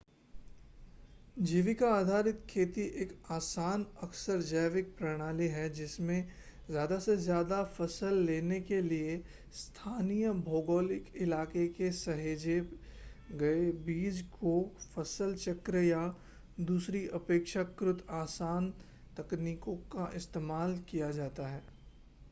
जीविका आधारित खेती एक आसान अक्सर जैविक प्रणाली है जिसमें ज़्यादा से ज़्यादा फ़सल लेने के लिए स्थानीय भौगोलिक इलाके के सहेजे गए बीज को फ़सल चक्र या दूसरी अपेक्षाकृत आसान तकनीकों का इस्तेमाल किया जाता है